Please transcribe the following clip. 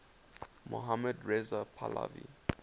mohammad reza pahlavi